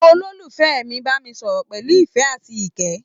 Ololufẹ mí bámi sọ̀rọ̀ pẹlú ìfẹ àti ikẹ́.